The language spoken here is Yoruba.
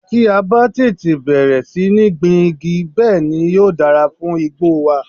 Tí a bá tètè bẹ̀rẹ̀ sí ní gbin igi, bẹ́ẹ̀ ni yóò dára fún igbó wa.